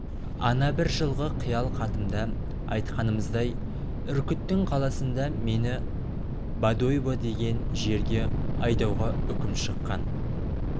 ана бір жылғы қиял хатымда айтқанымыздай үркіттің қаласында мені бодойбо деген жерге айдауға үкім шыққан